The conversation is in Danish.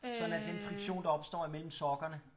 Sådan at den friktion der opstår imellem sokkerne